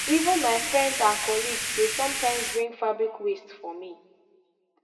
even my friends and colleagues dey sometimes bring fabric waste for me